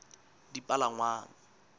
dipalangwang